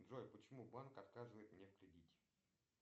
джой почему банк отказывает мне в кредите